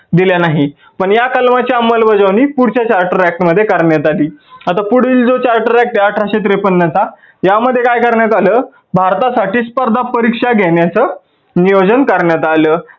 दिल्या नाही. पण या कलमाची अंमल बजावणी पुढच्या charter act मध्ये करण्यात आली. आता पुढील जो charter act आहे अठराशे त्रेपन्न चा या मध्ये काय करण्यात आलं भारतासाठी स्पर्धा परीक्षा घेण्याच नियोजन करण्यात आलं.